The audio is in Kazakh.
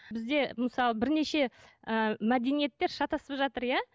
бізде мысалы бірнеше ііі мәдениеттер шатасып жатыр иә